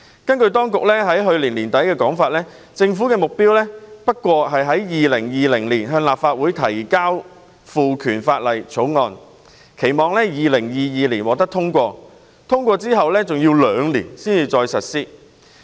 根據政府當局在去年年底的說法，政府的目標是在2020年向立法會提交賦權法例的草案，期望在2022年獲得通過，再過兩年才可望實施。